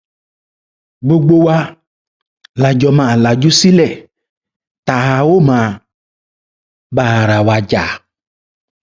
gbogbo wa la jọ máa lajú sílé tá a ó máa bá ara wa jà